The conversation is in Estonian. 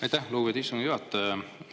Aitäh, lugupeetud istungi juhataja!